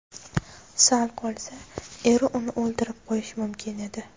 Sal qolsa eri uni o‘ldirib qo‘yishi mumkin edi.